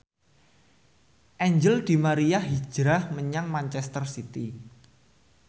Angel di Maria hijrah menyang manchester city